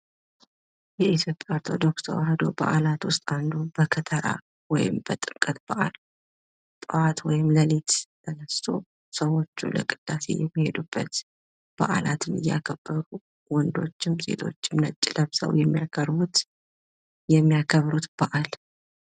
ዪትዮጵያ ኦርቶዶክስ ተዋህዶ በአላት ውስጥ አንዱ በከተራ ወይም በጥምቀት በአል ጠዋት ወይም ሌሊት ተነስቶ ስዎቹን ለቅዳሴ የሚሄዱበት በአላትን እያከበሩ ወንዶችም ሴቶችም ነጭ ለብስው የሚያከብሩት በአል ።